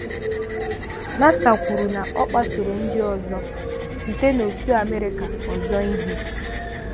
Nassar kwuru na ọ kpasooro ndị ọzọ site n’òtù America ọzọ ihe.